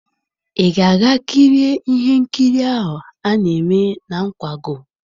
Ị ga-aga kirie ihe nkiri ahụ a na-eme na nkwago?